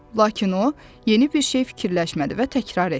Lakin o yeni bir şey fikirləşmədi və təkrar etdi.